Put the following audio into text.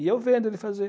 E eu vendo ele fazer.